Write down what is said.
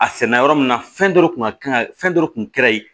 A sɛnɛ yɔrɔ min na fɛn dɔ kun ka kan ka fɛn dɔ kun kɛra yen